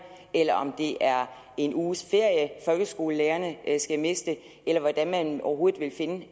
eller om det er en uges ferie som folkeskolelærerne skal miste eller hvordan man overhovedet vil finde